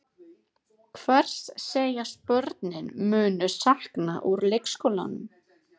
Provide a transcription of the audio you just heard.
Hvers segjast börnin munu sakna úr leikskólanum?